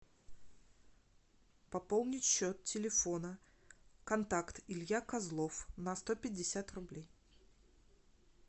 пополнить счет телефона контакт илья козлов на сто пятьдесят рублей